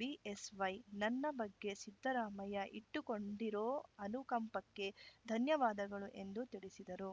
BSY ನನ್ನ ಬಗ್ಗೆ ಸಿದ್ದರಾಮಯ್ಯ ಇಟ್ಟುಕೊಂಡಿರೋ ಅನುಕಂಪಕ್ಕೆ ಧನ್ಯವಾದಗಳು ಎಂದು ತಿಳಿಸಿದರು